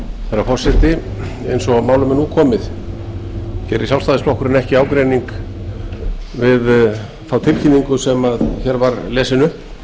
herra forseti eins og málum er nú komið gerir sjálfstæðisflokkurinn ekki ágreining við þá tilkynningu sem hér var lesin upp